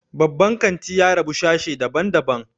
Babban kanti ya rabu sashe dabn daban